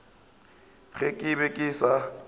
ge ke be ke sa